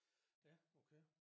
Ja okay